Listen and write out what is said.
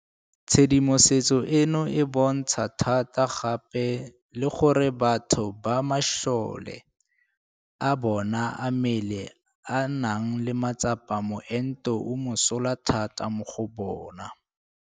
Tshedimosetso eno e bontsha thata gape le gore batho ba masole a bona a mmele a nang le matsapa moento o mosola thata mo go bona.